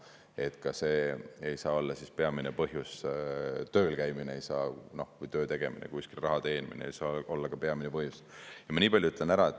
Nii et ka see ei saa olla peamine põhjus, tööl käimine või töötegemine, kuskil raha teenimine ei saa olla peamine põhjus.